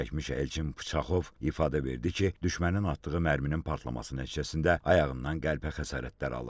Zərər çəkmiş Elçin Pıçaxov ifadə verdi ki, düşmənin atdığı mərminin partlaması nəticəsində ayağından qəlpə xəsarətləri alıb.